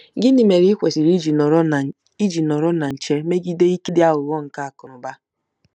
Gịnị mere i kwesịrị iji nọrọ na iji nọrọ na nche megide “ike dị aghụghọ nke akụnụba”?